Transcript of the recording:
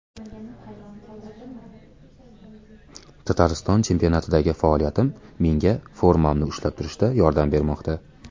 Tatariston chempionatidagi faoliyatim menga formamni ushlab turishda yordam bermoqda.